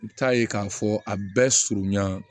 I bɛ taa ye k'a fɔ a bɛɛ surunya